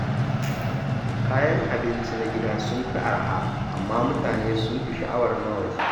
Kayan abinci na gida sun fi araha, amma mutane sun fi sha’awar na waje.